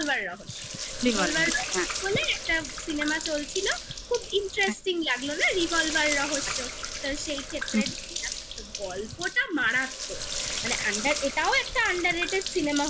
রহস্য একটা cinema চলছিল খুব interesting লাগলো না revolver রহস্য তো সেই ক্ষেত্রে noise গল্পটা মারাত্মক মানে under এটাও একটা under rate -এর cinema